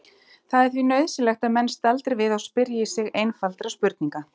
Það er því nauðsynlegt að menn staldri við og spyrji sig einfaldra spurninga